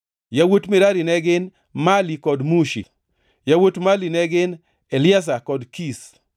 Yawuot Merari ne gin: Mali kod Mushi. Yawuot Mali ne gin: Eliazar kod Kish.